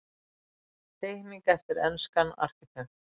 Teikning eftir enskan arkitekt.